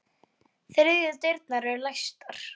Þriðju dyrnar eru læstar.